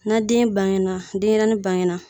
Na den bangena denyɛrɛni bangena